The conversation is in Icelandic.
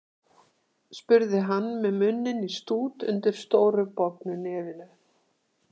spurði hann með munninn í stút undir stóru og bognu nefinu.